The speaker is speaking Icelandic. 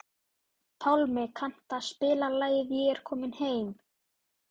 Pálmi, kanntu að spila lagið „Ég er kominn heim“?